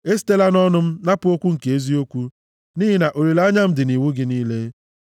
Esitela nʼọnụ m napụ okwu nke eziokwu, nʼihi na olileanya m dị nʼiwu gị niile.